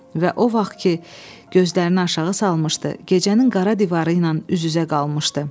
Və o vaxt ki gözlərini aşağı salmışdı, gecənin qara divarı ilə üz-üzə qalmışdı.